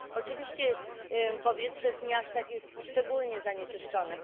Oczywiście powietrze w miastach jest szczególnie zanieczyszczone.